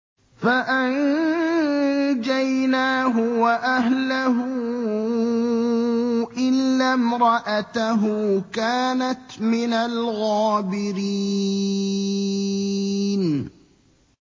فَأَنجَيْنَاهُ وَأَهْلَهُ إِلَّا امْرَأَتَهُ كَانَتْ مِنَ الْغَابِرِينَ